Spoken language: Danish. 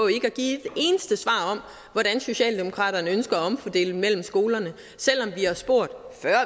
hvordan socialdemokraterne ønsker at omfordele mellem skolerne selv om vi har spurgt